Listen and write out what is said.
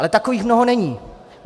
Ale takových mnoho není.